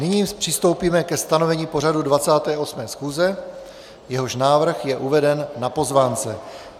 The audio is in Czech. Nyní přistoupíme ke stanovení pořadu 28. schůze, jehož návrh je uveden na pozvánce.